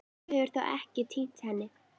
Þú hefur þó ekki. týnt henni?